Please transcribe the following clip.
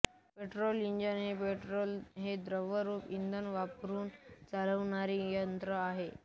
petrol engine हे petrol हे द्रवरूप इंधन वापरून चालणारे यंत्र आहे